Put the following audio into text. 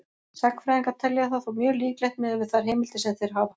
Sagnfræðingar telja það þó mjög líklegt miðað við þær heimildir sem þeir hafa.